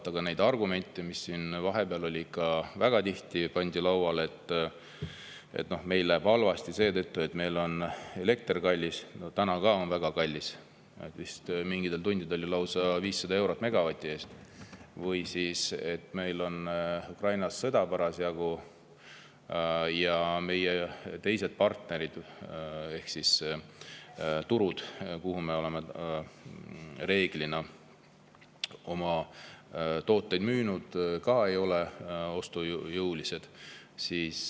Vaatame neid argumente, mis siin vahepeal väga tihti lauale pandi: meil läheb halvasti seetõttu, et meil on elekter kallis – täna on ka väga kallis, mingitel tundidel vist lausa 500 eurot megavati eest – ja et Ukrainas on parasjagu sõda ja meie partnerid ehk turud, kuhu me oleme reeglina oma tooteid müünud, ei ole ka ostujõulised.